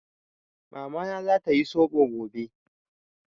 Mamana za ta yi Soɓo gobe.